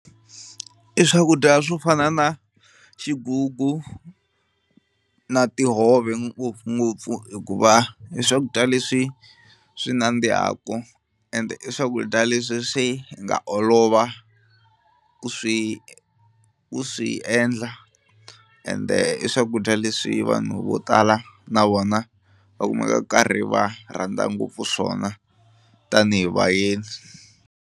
I swakudya swo fana na xigugu na tihove ngopfungopfu hikuva i swakudya leswi swi nandzihaku ende i swakudya leswi swi nga olova ku swi ku swi endla ende i swakudya leswi vanhu vo tala na vona va kumekaku va karhi va rhandza ngopfu swona tanihi vayeni.